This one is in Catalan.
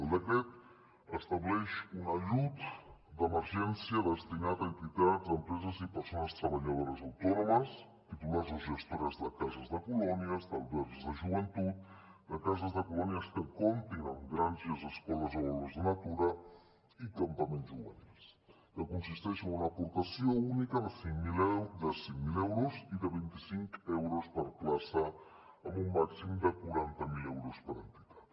el decret estableix un ajut d’emergència destinat a entitats empreses i persones treballadores autònomes titulars o gestores de cases de colònies d’albergs de joventut de cases de colònies que comptin amb granges escoles o aules de natura i campaments juvenils que consisteix en una aportació única de cinc mil euros i de vint i cinc euros per plaça amb un màxim de quaranta mil euros per entitat